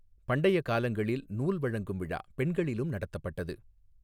பண்டைய காலங்களில், நூல் வழங்கும் விழா பெண்களிலும் நடத்தப்பட்டது.